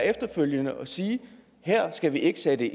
efterfølgende at sige her skal vi ikke sætte